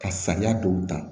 Ka sariya dɔw ta